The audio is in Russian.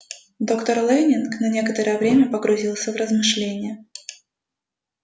доктор лэннинг на некоторое время погрузился в размышления